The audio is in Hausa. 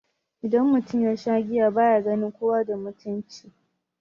Idan mutum yasha giya baya ganin kowa da mutunci